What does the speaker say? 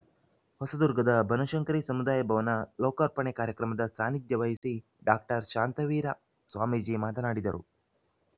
ಹೊಸದುರ್ಗದ ಬನಶಂಕರಿ ಸಮುದಾಯ ಭವನ ಲೋಕಾರ್ಪಣೆ ಕಾರ್ಯಕ್ರಮದ ಸಾನಿಧ್ಯ ವಹಿಸಿ ಡಾಕ್ಟರ್ ಶಾಂತವೀರ ಸ್ವಾಮೀಜಿ ಮಾತನಾಡಿದರು